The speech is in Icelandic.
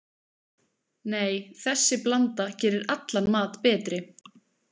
Nei, þessi blanda gerir allan mat betri.